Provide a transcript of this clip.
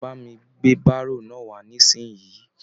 Bà mi gbé baro náà wà nisinyi!